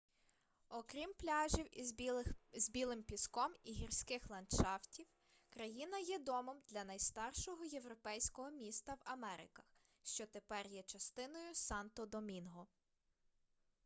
окрім пляжів із білим піском і гірських ландшафтів країна є домом для найстаршого європейського міста в америках що тепер є частиною санто-домінго